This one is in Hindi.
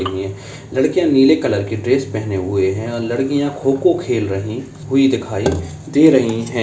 लड़कियाँ नीले कलर की ड्रेस पहने हुई हैं और लड़कियाँ खों-खों खेल रही हुई दिखाई दे रही हैं।